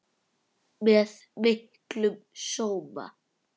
Með miklum sóma.